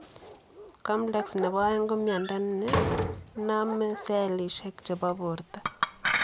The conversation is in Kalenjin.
Koplex nepo oeng ko miondoo nenomee selisiek chepoo portoo .